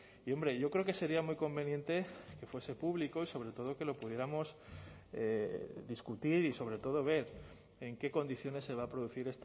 y hombre yo creo que sería muy conveniente que fuese público y sobre todo que lo pudiéramos discutir y sobre todo ver en qué condiciones se va a producir